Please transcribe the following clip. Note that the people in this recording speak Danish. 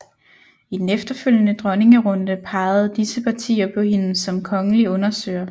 I den efterfølgende dronningerunde pegede disse partier på hende som kongelig undersøger